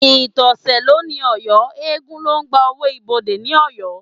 Ìtọ̀sẹ̀ ló ní Ọ̀yọ́, eégún ló ń gba owó ibodè ní Ọ̀yọ́